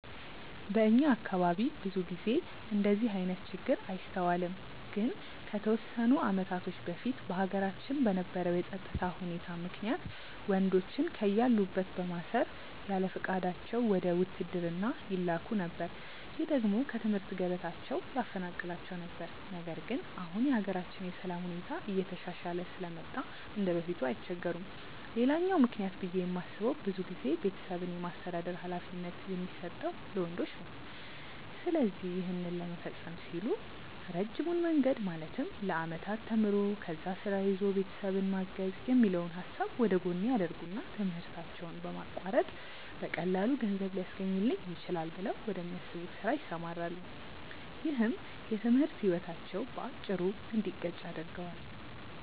በእኛ አካባቢ ብዙ ጊዜ እንደዚህ አይነት ችግር አይስተዋልም። ግን ከተወሰኑ አመታቶች በፊት በሀገራችን በነበረው የፀጥታ ሁኔታ ምክንያት ወንዶችን ከያሉበት በማሰር ያለፍቃዳቸው ወደ ውትድርና ይላኩ ነበር። ይህ ደግሞ ከትምህርት ገበታቸው ያፈናቅላቸው ነበር። ነገር ግን አሁን የሀገራችን የሰላም ሁኔታ እየተሻሻለ ስለመጣ እንደበፊቱ አይቸገሩም። ሌላኛው ምክንያት ብዬ የማስበው ብዙ ጊዜ ቤተሰብን የማስተዳደር ሀላፊነት የሚሰጠው ለወንዶች ነው። ስለዚህ ይህን ለመፈፀም ሲሉ ረጅሙን መንገድ ማለትም ለአመታት ተምሮ፣ ከዛ ስራ ይዞ ቤተሰብን ማገዝ የሚለውን ሀሳብ ወደጎን ያደርጉትና ትምህርታቸውን በማቋረጥ በቀላሉ ገንዘብ ሊያስገኝልኝ ይችላል ብለው ወደሚያስቡት ስራ ይሰማራሉ። ይህም የትምህርት ህይወታቸው በአጭሩ እንዲቀጭ ያደርገዋል።